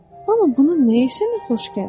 Amma bunu nəyə sənə xoş gəlir?